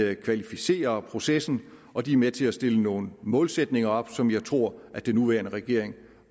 at kvalificere processen og de er med til at stille nogle målsætninger op som jeg tror at den nuværende regering